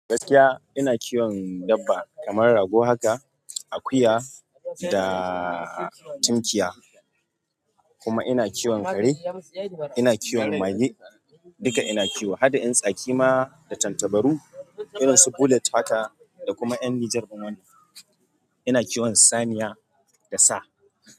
Gaskiya ina kiwon dabba kamar rago, haka akuya da tinkiya kuma ina kiwon kare. Ina kiwon mage duka ina kiwo, haɗa ƴan tsaki ma da tantabaru. Irin su bullet fata da kuma ƴan nijar wani. Ina kiwon saniya da sa.